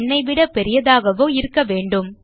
அல்லது ந் விட பெரிதாகவோ இருக்கவேண்டும்